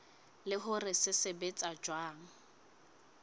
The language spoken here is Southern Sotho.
le hore se sebetsa jwang